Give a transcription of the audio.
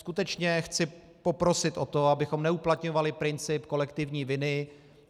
Skutečně chci poprosit o to, abychom neuplatňovali princip kolektivní viny.